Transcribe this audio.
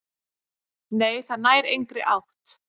"""Nei, það nær engri átt."""